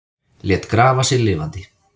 Lét grafa sig lifandi